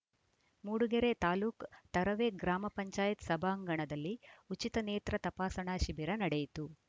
ಮೂಡಿಗೆರೆ ತಾಲೂಕು ತರುವೆ ಗ್ರಾಮ ಪಂಚಾಯತ್ ಸಭಾಂಗಣದಲ್ಲಿ ಉಚಿತ ನೇತ್ರ ತಪಾಸಣಾ ಶಿಬಿರ ನಡೆಯಿತು